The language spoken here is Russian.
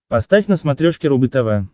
поставь на смотрешке рубль тв